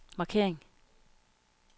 markering